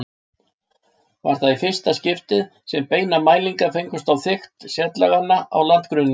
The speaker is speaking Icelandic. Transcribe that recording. Var það í fyrsta skipti sem beinar mælingar fengust á þykkt setlaganna á landgrunninu.